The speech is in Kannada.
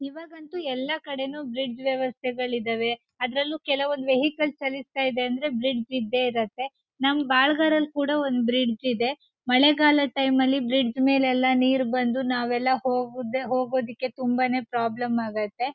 ಇವಾಗಂತೂ ಎಲ್ಲ ಕಡೆ ಬ್ರಿಡ್ಜ್ ವೆವಸ್ಥೆಗಳು ಇದಾವೆ ಅದರಲ್ಲೂ ಕೆಲವೊಂದು ವೆಹಿಕಲ್ ಜಾಲಿಸ್ತಾಇದೆ ಅಂದ್ರೆ ಬ್ರಿಡ್ಜ್ ಇದ್ದೆ ಇರುತ್ತೆ ನಮ್ ಬಾಳ್ಗರಲ್ ಕೂಡ ಒಂದ್ ಬ್ರಿಡ್ಜ್ ಇದೆ ಮಳೆಗಾಲದ ಟೈಮ್ ನಲ್ಲಿ ಬ್ರಿಡ್ಜ್ ಮೇಲೆ ಎಲ್ಲ ನೀರ್ ಬಂದು ನಾವೆಲ್ಲ ಹೋಗೋದೇ ಹೋಗೋದಿಕ್ಕೆ ತುಂಬಾ ನೇ ಪ್ರಾಬ್ಲಮ್ ಆಗತ್ತೆ.